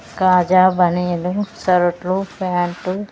ఖాజా బనీలు సరట్లు ప్యాంట్లు .